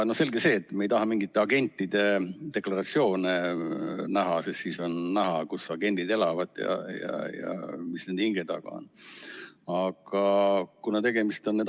Selge see, et me ei taha mingite agentide deklaratsioone näha, sest siis on näha, kus agendid elavad ja mis neil hinge taga on.